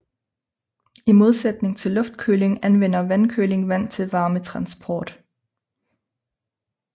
I modsætning til luftkøling anvender vandkøling vand til varmetransport